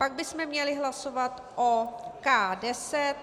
Pak bychom měli hlasovat o K10.